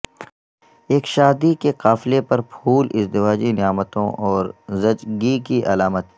ایک شادی کے قافلے پر پھول ازدواجی نعمتوں اور زچگی کی علامت